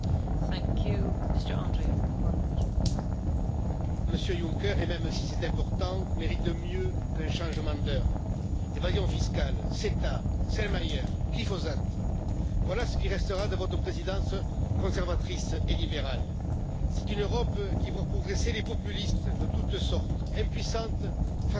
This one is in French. Madame la Présidente, Monsieur Juncker, l'Europe, même si c'est important, mérite mieux qu'un changement d'heure. L'évasion fiscale, CETA, Selmayr, glyphosate, voilà ce qui restera de votre présidence conservatrice et libérale. C'est une Europe qui voit progresser les populistes de toutes sortes, impuissante face au reste du monde, que vous nous laissez.